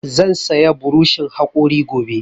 Zan saya burishin haƙori gobe